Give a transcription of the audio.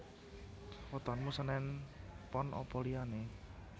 Wetonmu senen pon apa liyane?